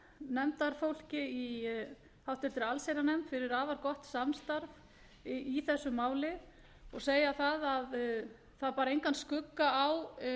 nefndarfólki í háttvirta allsherjarnefnd fyrir afar gott samstarf í þessu máli og segja að það bar engan skugga á